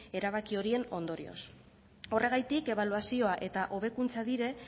erabaki horien ondorioz horregatik ebaluazioa eta hobekuntza dire